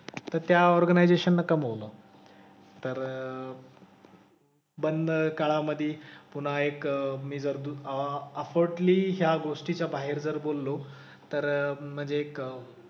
तर त्या ऑर्गनायझेशन ने कमवलं. तर बंद काळामधे पुन्हा एक मी जर ह्या गोष्टीच्या बाहेर जर बोललो तर म्हणजे एक,